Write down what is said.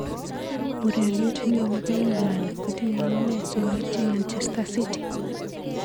Ureriet neo nebo England kotinye amune simaityi Manchester city.